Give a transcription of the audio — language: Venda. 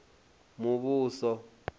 muvhuso